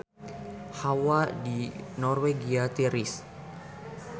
Hawa di Norwegia tiris